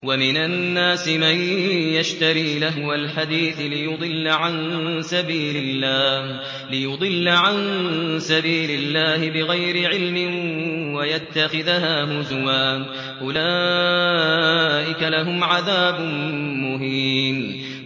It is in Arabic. وَمِنَ النَّاسِ مَن يَشْتَرِي لَهْوَ الْحَدِيثِ لِيُضِلَّ عَن سَبِيلِ اللَّهِ بِغَيْرِ عِلْمٍ وَيَتَّخِذَهَا هُزُوًا ۚ أُولَٰئِكَ لَهُمْ عَذَابٌ مُّهِينٌ